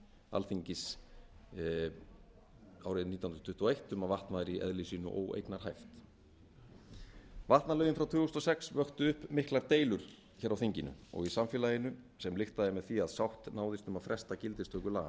alþingis árið nítján hundruð tuttugu og eitt um að vatn væri í eðli sínu óeignarhæft vatnalögin frá tvö þúsund og sex vöktu upp miklar deilur hér á þinginu og í samfélaginu sem lyktaði með því að sátt náðist um að fresta gildistöku